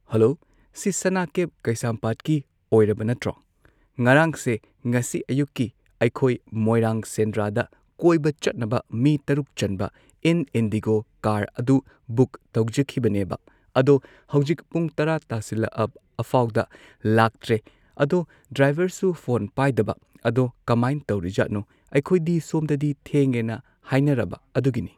Hello ꯁꯤ ꯁꯅꯥ cab ꯀꯩꯁꯥꯝꯄꯥꯠꯀꯤ ꯑꯣꯏꯔꯕ ꯅꯠꯇ꯭ꯔꯣ ꯉꯔꯥꯡꯁꯦ ꯉꯁꯤ ꯑꯌꯨꯛꯀꯤ ꯑꯩꯈꯣꯏ ꯃꯣꯏꯔꯥꯡ ꯁꯦꯟꯗ꯭ꯔꯥꯗ ꯀꯣꯏꯕ ꯆꯠꯅꯕ ꯃꯤ ꯇꯔꯨꯛ ꯆꯟꯕ ꯏꯟ ꯏꯟꯗꯤꯒꯣ ꯀꯥꯔ ꯑꯗꯨ ꯕꯨꯛ ꯇꯧꯖꯈꯤꯕꯅꯦꯕ ꯑꯗꯣ ꯍꯧꯖꯤꯛ ꯄꯨꯡ ꯇꯔꯥ ꯇꯥꯁꯤꯜꯂꯛꯑꯐꯥꯎꯗ ꯂꯥꯛꯇ꯭ꯔꯦ ꯑꯗꯣ ꯗ꯭ꯔꯥꯏꯚꯔꯁꯨ ꯐꯣꯟ ꯄꯥꯏꯗꯕ ꯑꯗꯣ ꯀꯃꯥꯏ ꯇꯧꯔꯤꯖꯥꯠꯅꯣ ꯑꯩꯈꯣꯢꯗꯤ ꯁꯣꯝꯗꯗꯤ ꯊꯦꯡꯉꯦꯅ ꯍꯥꯏꯅꯔꯕ ꯑꯗꯨꯒꯤꯅꯤ꯫